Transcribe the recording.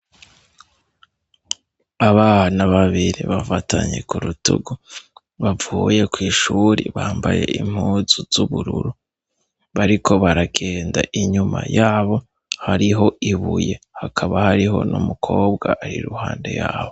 Abana babiri bafatanye ku rutugu bavuye kw'ishuri bambaye impuzu z'ubururu bariko baragenda inyuma yabo hariho ibuye hakaba hariho no mukobwa ari i ruhande yabo.